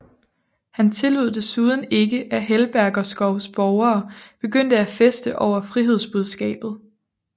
Han tillod desuden ikke at Helberskovs borgere begyndte at feste over frihedsbudskabet